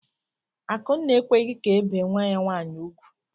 Akụnna ekweghị ka ebee nwa ya nwaanyị ugwu.